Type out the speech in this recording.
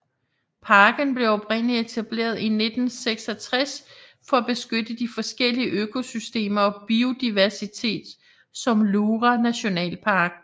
Parken blev oprindeligt etableret i 1966 for at beskytte de forskellige økosystemer og biodiversitet som Lura Nationalpark